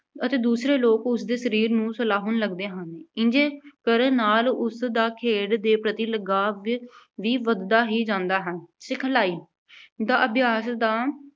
ਅਤੇ ਦੂਸਰੇ ਲੋਕ ਉਸਦੇ ਸਰੀਰ ਨੂੰ ਸਲਾਹੁਣ ਲੱਗਦੇ ਹਨ। ਇੰਜ ਕਰਨ ਨਾਲ ਉਸਦਾ ਖੇਡ ਦੇ ਪ੍ਰਤੀ ਲਗਾਵ ਵੀ ਵਧਦਾ ਹੀ ਜਾਂਦਾ ਹੈ। ਸਿਖਲਾਈ ਦਾ ਅਭਿਆਸ ਦਾ